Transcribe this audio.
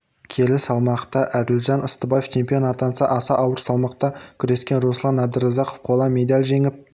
келі салмақта әділжан ыстыбаев чемпион атанса аса ауыр салмақта күрескен руслан әбдіразақов қола медаль жеңіп